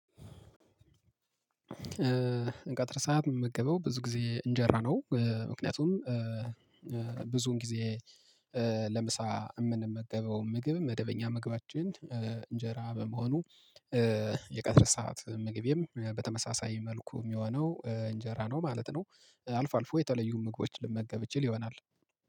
እንቀጥር ሰዓት የምመገበው ብዙ ጊዜ እንጀራ ነው ምክንያቱም ብዙን ጊዜ ለምሳ የምንመገበው ምግብ መደበኛ ምግባችን እንጀራ በመሆኑ የቀጥር ሰዓት ምግቤም በተመሳሳይ መልኩ የሚሆነው እንጀራ ነው ማለት ነው። አልፎ አልፎ የተለዩ ምግቦችን ልመገብ ይችል ይሆናል